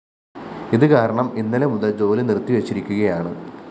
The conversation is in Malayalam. ഇത്കാരണം ഇന്നലെ മുതല്‍ ജോലിനിര്‍ത്തിവെച്ചിരിക്കുകയാണ്